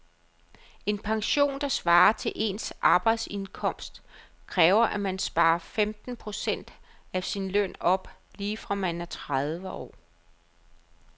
En pension, der svarer til ens arbejdsindkomst, kræver at man sparer femten procent af sin løn op lige fra man er tredive år.